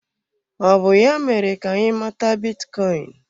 Ọ bụ ya mere ka anyị mata bitcoin?